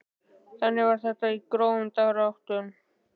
Þannig var þetta í grófum dráttum.